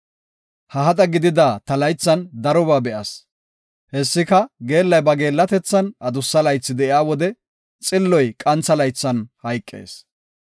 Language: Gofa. Ha hada gidida ta laythan darobaa be7as. Hessika, geellay ba geellatethan adussa laythi de7iya wode xilloy qantha laythan hayqees.